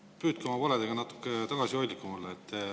] Püüdke oma valedega natuke tagasihoidlikum olla.